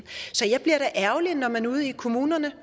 så jeg bliver da ærgerlig når man ude i kommunerne